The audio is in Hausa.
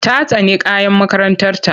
Ta tsani kayan makarantarta.